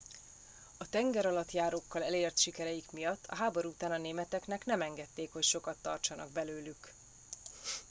a tengeralattjárókkal elért sikereik miatt a háború után a németeknek nem engedték hogy sokat tartsanak belőlük